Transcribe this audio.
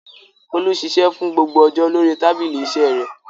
Folú ṣiṣẹ́ fún gbogbo ọjọ́ lórí tábìlì iṣẹ́ rẹ̀.